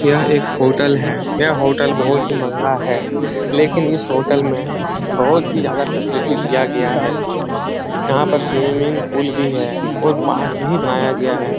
यह एक होटल है यह होटल बहुत ही महंगा है लेकिन इस होटल में बहुत ही ज्यादा फैसिलिटी दिया गया है यहाँ पर स्विमिंग पूल भी है और पार्क भी बनाया गया है।